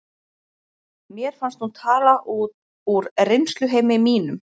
Mér fannst hún tala út úr reynsluheimi mínum.